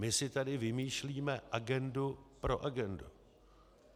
My si tady vymýšlíme agendu pro agendu.